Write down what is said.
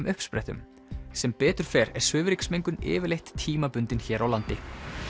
uppsprettum sem betur fer er svifryksmengun yfirleitt tímabundin hér á landi